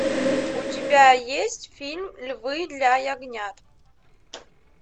у тебя есть фильм львы для ягнят